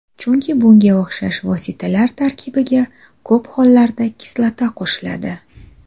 Chunki bunga o‘xshash vositalar tarkibiga ko‘p hollarda kislota qo‘shiladi.